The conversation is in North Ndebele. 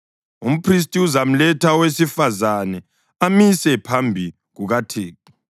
Umphristi uzamletha owesifazane amise phambi kukaThixo.